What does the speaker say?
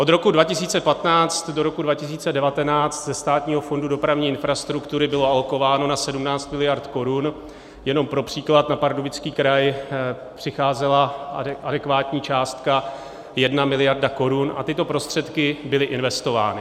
Od roku 2015 do roku 2019 ze Státního fondu dopravní infrastruktury bylo alokováno na 17 miliard korun, jenom pro příklad, na Pardubický kraj přicházela adekvátní částka 1 miliarda korun, a tyto prostředky byly investovány.